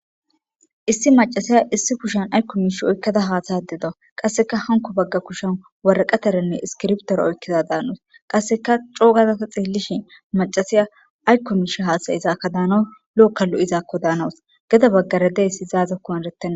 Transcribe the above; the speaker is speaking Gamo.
issi macasiya issi kushan aykko miish oykkada haasaya de da qasseka hanko bagga kushan waraqataranne iskirbtor oykkiza daanos qasseka coogazata xeellishin macasiya aykko miisha haasayizaaka daana lo7okka lo7izaakko daanawus geda baggara deysi izaazakko eretta